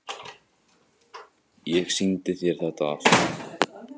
Ég sýndi þér þetta allt.